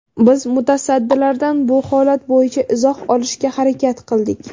Biz mutasaddilardan bu holat bo‘yicha izoh olishga harakat qildik.